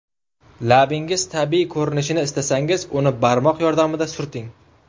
Labingiz tabiiy ko‘rinishini istasangiz, uni barmoq yordamida surting.